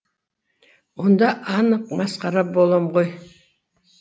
онда анық масқара болам ғой